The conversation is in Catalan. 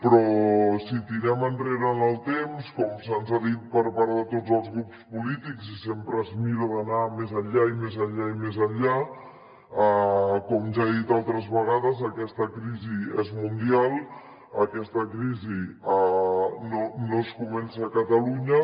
però si tirem enrere en el temps com se’ns ha dit per part de tots els grups polítics i sempre es mira d’anar més enllà i més enllà i més enllà com ja he dit altres vegades aquesta crisi és mundial aquesta crisi no comença a catalunya